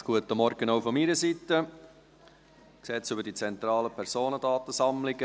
Ich übergebe die Ratsleitung dem Vizepräsidenten, Stefan Costa.